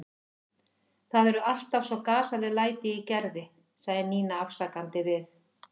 Það eru alltaf svo gasaleg læti í Gerði sagði Nína afsakandi við